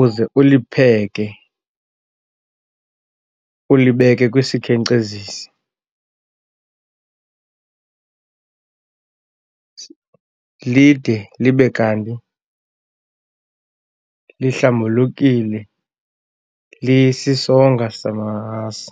uze ulipheke, ulibeke kwisikhenkcezisi lide libe kanti lihlambulukile lisisonka samasi.